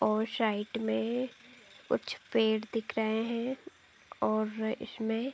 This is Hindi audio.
और शाइड में कुछ पेड़ दिख रहे है और इसमें --